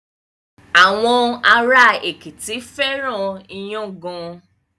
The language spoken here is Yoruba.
Àwọn ará Èkìtì fẹ́ràn iyán gan.